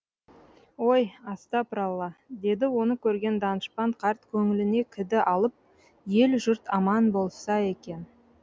ой астапыралла деді оны көрген данышпан қарт көңіліне кіді алып ел жұрт аман болса екен